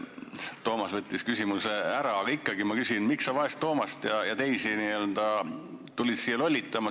Toomas küsis minu küsimuse ära, aga ikkagi ma küsin, et miks sa vaest Toomast ja teisi tulid siia n-ö lollitama.